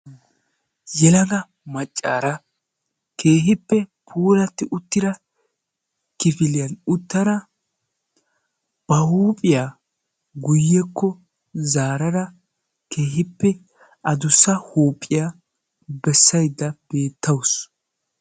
yelaga maccaara keehippe puulati uttida kifiliya uttida ha huuphiya guyyekko zaarada keehippe addussa huuphiya bessaydda beettawus.